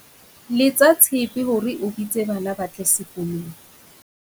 Letsa tshepe hore o bitse bana ba tle sekolong.